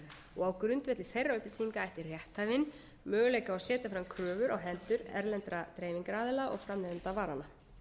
selda á grundvelli þeirra upplýsinga ætti rétthafinn möguleika á að setja fram kröfur á hendur erlendra dreifingaraðila og framleiðenda varanna